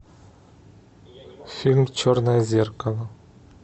фильм черное зеркало